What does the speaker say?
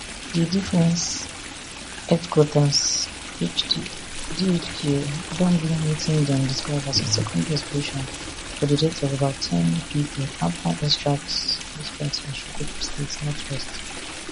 di defence headquarters dhq don blame wetin dem describe as a secondary explosion for dideath of about ten pipoafta airstrikes airstrikes for sokoto state northwest nigeria